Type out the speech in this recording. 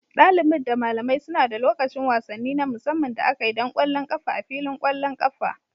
Dalibin da malamai suna da lokacin wasanni na musamman da aka yi don ƙwallon ƙafa a filin ƙwallon ƙafa.